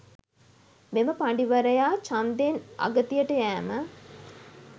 මෙම පඬිවරයා ඡන්දයෙන් අගතියට යෑම